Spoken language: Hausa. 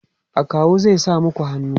akawu zai sa maku hannu?